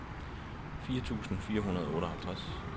fire tusind fire hundrede og otteoghalvtreds